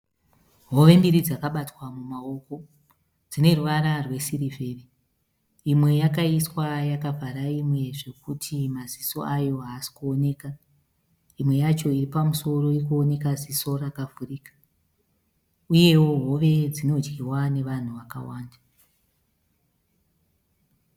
Hove mbiri dzakabatwa mumaoko dzine ruvara rwesirivheri. Imwe yakaiswa yakavhara imwe zvekuti maziso ayo haasi kuoneka imwe yacho iripamusoro irikuoneka ziso rakavhurika uyewo hove dzinodyiwa nevanhu vakawanda.